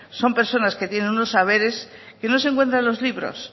son personas que tienen unos saberes que no se encuentran en los libros